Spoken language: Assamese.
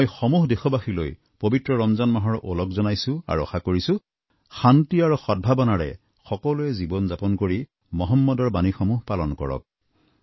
মই সমূহ দেশবাসীলৈ পবিত্ৰ ৰমজান মাহৰ ওলগ জনাইছোঁ আৰু আশা কৰিছোঁ শান্তি আৰু সদভাৱনাৰে সকলোৱে জীৱনযাপন কৰি মহম্মদৰ বাণীসমূহ পালন কৰক